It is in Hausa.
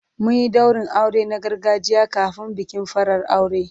Mun yi daurin aure na gargajiya kafin bikin farar aure.